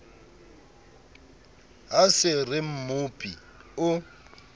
ha se re mmopi o